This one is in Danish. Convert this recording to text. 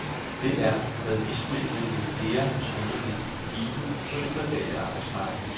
Det er, hvad vismændene med flere skønner vil blive givet på det private arbejdsmarked.